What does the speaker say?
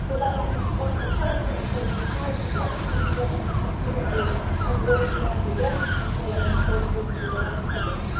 That will be one of the first things we will try to get people together in the Cartagena Group and work there with them, as well as working with a lot of others.